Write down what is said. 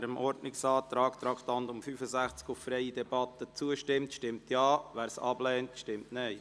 Wer dem Ordnungsantrag auf freie Debatte betreffend Traktandum 65 zustimmt, stimmt Ja, wer dies ablehnt, stimmt Nein.